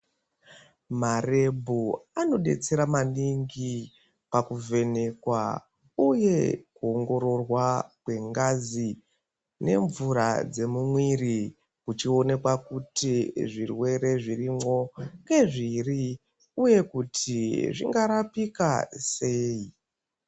Marebhu anodetsera maningi pakuvhenekwa uye kuongororwa kwengazi nemvura dzemumwiiri kuchionekwa kuti zvirwere zvirimwo ngezviri uye kuti zvingarapika sei.